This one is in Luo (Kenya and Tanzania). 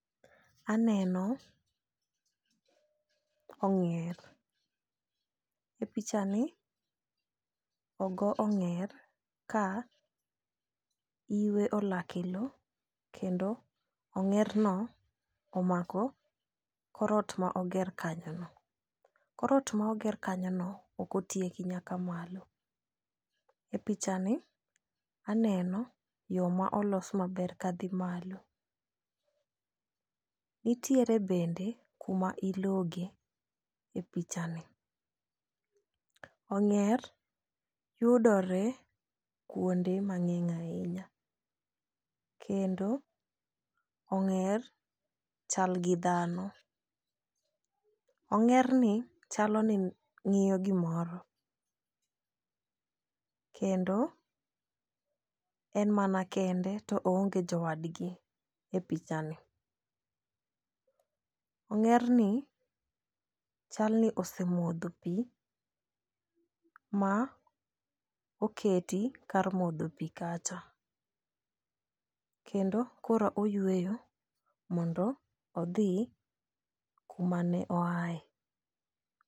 Aneno ong'er e picha ni ogo ong'er ka iwe olak e lowo kendo ong'er no omako korot ma oger kanyo no .Korot ma oger kanyo ok otieko nyaka malo. E picha ni aneno yoo molos maber kadhi malo . Nitiere bende kuma ilogo e picha ni ong'er yudore kuonde mang'eny ahinya kendo ong'er chal gi dhano. Ong'er ni chalo ni ng'iyo gimoro kendo en mana kende gto oonge jowadgi e picha ni. Ong'er ni chal ni osemodho pii ma oketi kar modho pii kacha kendo koro oyweyo mondo odhi kumane oaye.